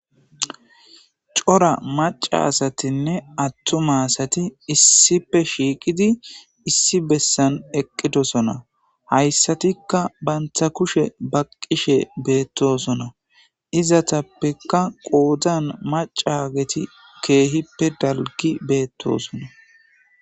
Cora maca asatinne attuma asati issipe shiiqidi issi bessan eqqidosona hayssatikka bantha kushe baqqishe beettosona izatappekka qoodan macageti keehippe dalgi beettosona.